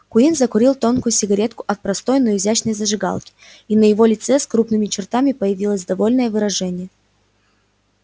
куинн закурил тонкую сигарету от простой но изящной зажигалки и на его лице с крупными чертами появилось довольное выражение